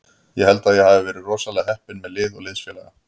Ég held að ég hafi verið rosalega heppinn með lið og liðsfélaga.